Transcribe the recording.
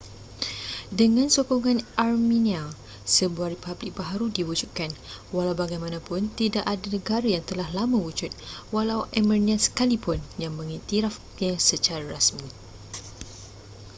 dengan sokongan armenia sebuah republik baharu diwujudkan walau bagaimanapun tidak ada negara yang telah lama wujud walau armenia sekalipun yang mengiktirafnya secara rasmi